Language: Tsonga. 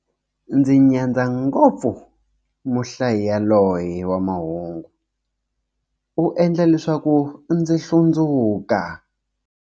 Ndzi nyadza ngopfu muhlayi yaloye wa mahungu, u endla leswaku ndzi hlundzuka.